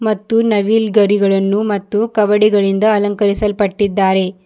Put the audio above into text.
ಮತ್ತು ನವಿಲ್ಗರಿಗಳನ್ನು ಮತ್ತು ಕವಡಿಗಳಿಂದ ಅಲಂಕರಿಸಲ್ಪಟ್ಟಿದ್ದಾರೆ.